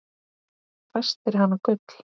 Fæst fyrir hana gull.